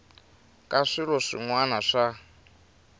ka swilo swin wana swa